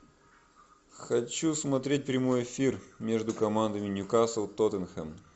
хочу смотреть прямой эфир между командами ньюкасл тоттенхэм